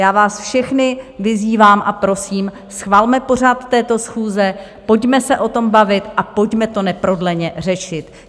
Já vás všechny vyzývám a prosím, schvalme pořad této schůze, pojďme se o tom bavit a pojďme to neprodleně řešit.